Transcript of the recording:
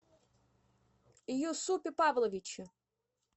юсупе павловиче